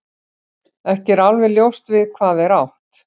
Ekki er alveg ljóst við hvað er átt.